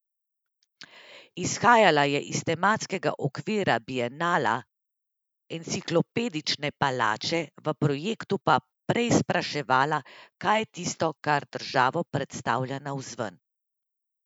Izhajala je iz tematskega okvira bienala Enciklopedične palače, v projektu pa preizpraševala, kaj je tisto, kar državo predstavlja navzven.